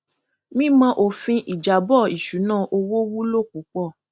mímọ òfin ìjábọ ìṣúná owó wúlò púpọ